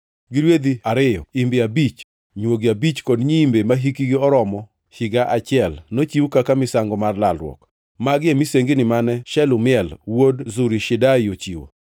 gi rwedhi ariyo, imbe abich, nywogi abich kod nyiimbe mahikgi oromo higa achiel, nochiw kaka misango mar lalruok. Magi e misengini mane Shelumiel wuod Zurishadai ochiwo.